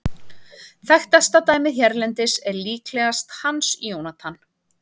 Þekktasta dæmið hérlendis er líklega Hans Jónatan.